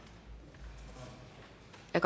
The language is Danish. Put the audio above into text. af